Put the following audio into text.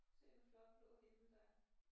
Se en flot blå himmel der er